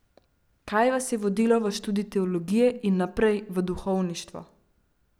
Kaj je vas vodilo v študij teologije in naprej, v duhovništvo?